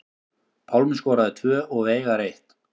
Pálmi skoraði tvö og Veigar eitt